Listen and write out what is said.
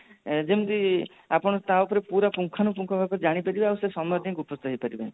ଆପଣ ତା ଉପରେ ପୁରା ପୁଙ୍ଖାନୁ ପୁଙ୍ଖ ଭାବେ ଜାଣିପାରିବେ ଆଉ ସମସ୍ତେ ନିଯୁକ୍ତ ହେଇପାରିବେ